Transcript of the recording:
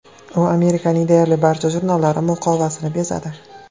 U Amerikaning deyarli barcha jurnallari muqovasini bezadi.